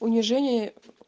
унижение